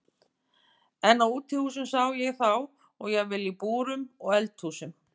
En á útihúsum sá ég þá og jafnvel í búrum og eldhúsum.